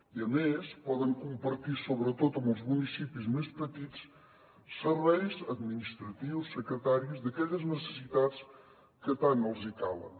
i a més poden compartir sobretot amb els municipis més petits serveis administratius secretaris d’aquelles necessitats que tant els calen